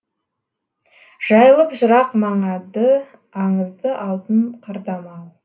жайылып жырақ маңадыаңызды алтын қырда мал